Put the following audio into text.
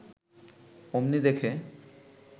অমনি দেখে